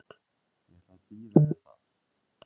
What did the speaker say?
Ég ætla að bíða með það.